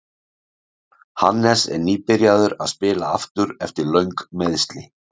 Hannes er nýbyrjaður að spila aftur eftir löng meiðsli.